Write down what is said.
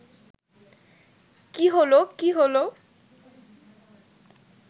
কী হল, কী হল